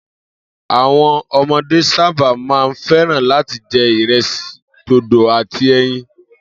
Àwo̩n o̩mo̩dé sábà máa ń fé̩ràn láti je̩ ìre̩sì, dòdò àti e̩yin